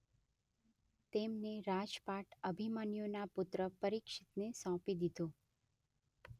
તેમને રાજપાટ અભિમન્યૂના પુત્ર પરીક્ષિતને સોંપી દીધું.